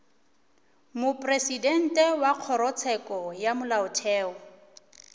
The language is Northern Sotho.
mopresidente wa kgorotsheko ya molaotheo